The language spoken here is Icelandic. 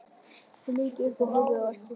Hún lítur upp og horfir á eftir honum.